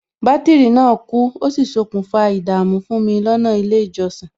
Bátìrì náà kú, ó sì ṣokùnfà ìdààmú fún mi lọ́nà ilé ìjọsìn